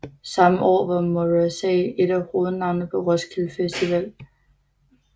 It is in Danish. Samme år var Morrissey et af hovednavnene på Roskilde Festival